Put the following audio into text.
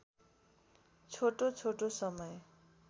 छोटो छोटो समय